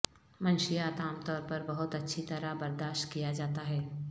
منشیات عام طور پر بہت اچھی طرح برداشت کیا جاتا ہے